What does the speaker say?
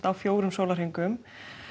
á fjórum sólarhringum